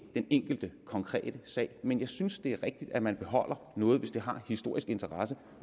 den enkelte konkrete sag men jeg synes det er rigtigt at man beholder noget hvis det har historisk interesse